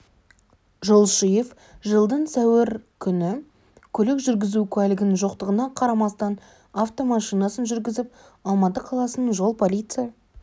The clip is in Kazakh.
жолшиев жылдың сәуір күні көлік жүргізу куәлігінің жоқтығына қарамастан автомашинасын жүргізіп алматы қаласының жол полиция